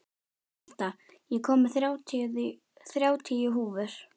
Marta, ég kom með þrjátíu húfur!